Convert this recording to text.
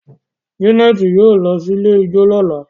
Janet yóò ló sì ilẹ̀ ijọ lọla.